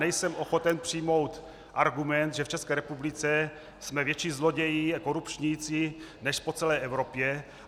Nejsem ochoten přijmout argument, že v České republice jsme větší zloději a korupčníci než po celé Evropě.